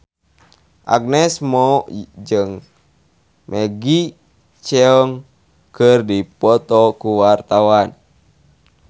Agnes Mo jeung Maggie Cheung keur dipoto ku wartawan